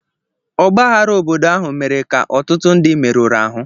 Ọgbaghara obodo ahụ mere ka ọtụtụ ndị merụrụ ahụ